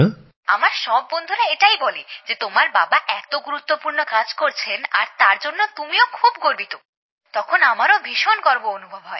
হ্যাঁ আমার সব বন্ধুরা এটাই বলে যে তোমার বাবা এত গুরুত্বপূর্ণ কাজ করছেন আর তার জন্য আমিও খুব গর্বিত তখন আমারও ভীষণ গর্ব অনুভব হয়